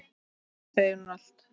Mér segir hún allt